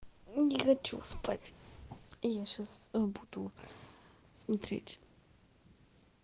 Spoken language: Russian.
не хочу спать я сейчас буду смотреть